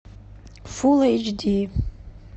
фулл эйч ди